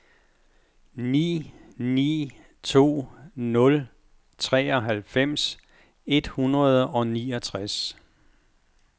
ni ni to nul treoghalvfems et hundrede og niogtres